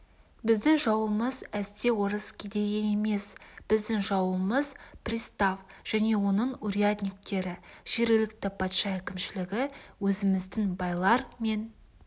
біздің жауымыз әсте орыс кедейі емес біздің жауымыз пристав және оның урядниктері жергілікті патша әкімшілігі өзіміздің байлар мен